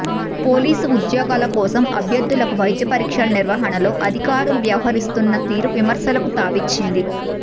police ఉద్యోగాల కోసం అభ్యర్ధులకు వైద్య పరీక్షలు నిర్వహణలో అధికారులు వ్యవహరిస్తున్న తీరు విమర్శలకు తావిచ్చింది